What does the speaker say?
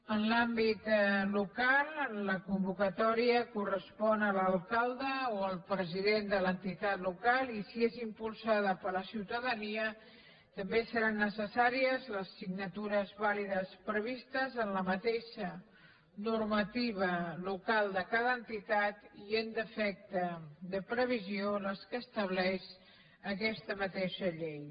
en l’àmbit local la convocatòria correspon a l’alcalde o al president de l’entitat local i si és impulsada per la ciutadania també seran necessàries les signatures vàlides previstes en la mateixa normativa local de cada entitat i en defecte de previsió les que estableix aquesta mateixa llei